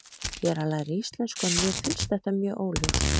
Ég er að læra íslensku en mér finnst þetta mjög óljóst.